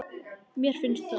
Mér finnst það.